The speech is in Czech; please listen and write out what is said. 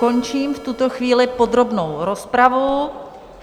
Končím v tuto chvíli podrobnou rozpravu.